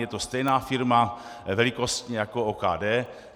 Je to stejná firma velikostně jako OKD.